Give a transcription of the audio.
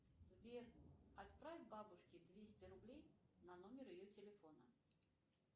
сбер отправь бабушке двести рублей на номер ее телефона